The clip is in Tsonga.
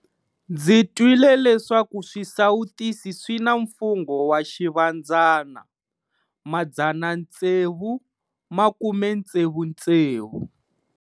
Ndzi twile leswaku swisawutisi swi na mfungho wa Xivandzana - 666.